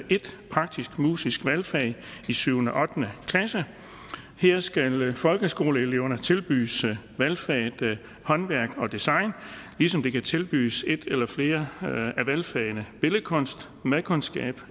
et praktisk musisk valgfag i syvende og ottende klasse her skal folkeskoleeleverne tilbydes valgfaget håndværk og design ligesom de kan tilbydes et eller flere af valgfagene billedkunst madkundskab